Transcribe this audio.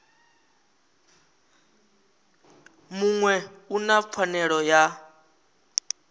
muṅwe u na pfanelo ya